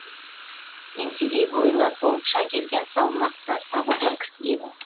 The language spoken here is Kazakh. еңсегей бойлы толықша келген салмақты сабырлы кісі еді